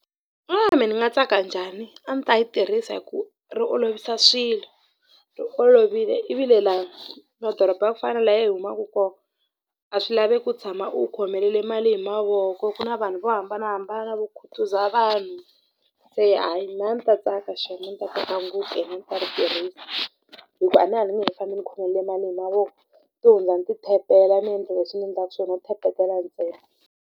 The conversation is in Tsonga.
Mehe ni nga tsaka njhani a ni ta yi tirhisa hi ku ri olovisa swilo ri olovile ivile laha madoroba ya ku fana na laha hi humaka kona a swi laveki u tshama u khomelele mali hi mavoko ku na vanhu vo hambanahambana vo khutuza vanhu se hayi mehe a ni ta tsaka xem a ni ta tsaka ngopfu ene a ni ta ri tirhisa hi ku a ni a ni nge he faambi ni khomelele mali hi mavoko to hundza ni ti-tap-ela ni endla leswi ni endlaka swona tap-etela ntsena.